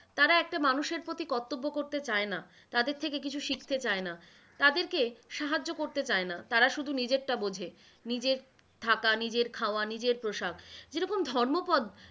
তারা একটা মানুষের প্রতি কর্তব্য করতে চায়না, তাদের থেকে কিছু শিখতে চায়না, তাদেরকে সাহায্য করতে চায়না, তারা শুধু নিজেরটা বোঝে, নিজের থাকা, নিজের খাওয়া, নিজের পোশাক, যেরকম ধর্মোপদ,